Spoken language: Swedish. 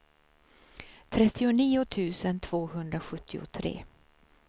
trettionio tusen tvåhundrasjuttiotre